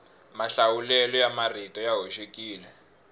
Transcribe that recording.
mahlawulelo ya marito ya hoxekile